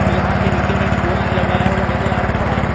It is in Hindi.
और यहां पे नीचे मे एक पोल लगाया हुआ नजर आ रहा है।